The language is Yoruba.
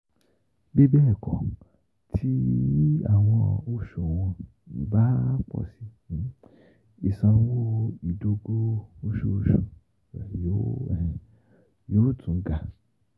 Bibẹẹkọ, ti awọn oṣuwọn um ba pọ si, isanwo idogo oṣooṣu rẹ yoo um yóò tún um ga.